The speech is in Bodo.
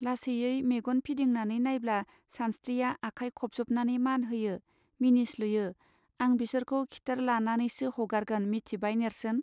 लासैयै मेगन फिदिंनानै नायब्ला सानस्त्रिया आखाय खबजबनानै मान होयो मिनिस्लुयो आं बिसोरखौ खिथेर लानानैसो हगारगोन मिथिबाय नेर्सोन.